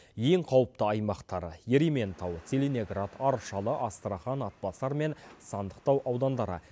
ең қауіпті аймақтар ерейментау целиноград аршалы астрахань атбасар мен сандықтау аудандары